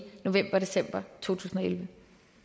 november december to tusind